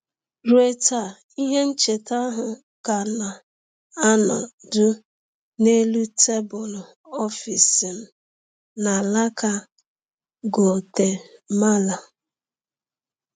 Ruo taa, ihe ncheta ahụ ka na-anọdụ n’elu tebụl ọfịs m n’alaka Guatemala.